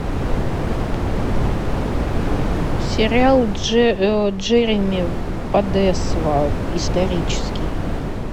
сериал джереми подесва исторический